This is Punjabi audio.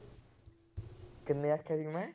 ਕਿੰਨੇ ਆਖਿਆ ਸੀ ਮੈਂ।